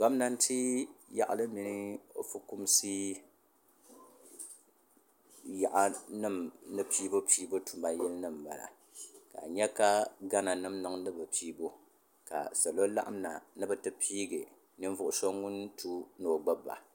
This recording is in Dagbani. gominatɛ mini o ƒɔkumisi yaɣili nim ni pɛbupɛbu tuma yili nimiba ka nyɛ ka gana nim niŋ di pɛbupɛbu ka salo laɣim na ni be ti pɛigi nivugi so ŋɔ tu ni o gbaba